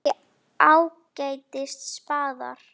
Erum við ekki ágætis spaðar?